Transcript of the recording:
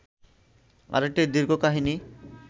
আরেকটি দীর্ঘ কাহিনী